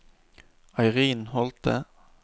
Eirin Holthe